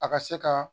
A ka se ka